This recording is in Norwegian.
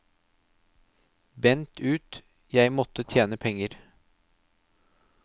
Bent ut, jeg måtte tjene penger.